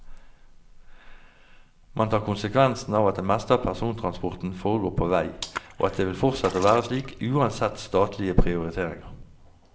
Man tar konsekvensen av at det meste av persontransporten foregår på vei, og at det vil fortsette å være slik uansett statlige prioriteringer.